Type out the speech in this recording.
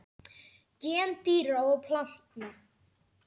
Gen dýra og plantna